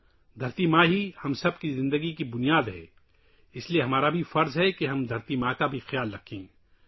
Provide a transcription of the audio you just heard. ماں دھرتی ہم سب کے لیے زندگی کی بنیاد ہے، اس لیے ہمارا فرض ہے کہ ہم زمین کی ماں کا بھی خیال رکھیں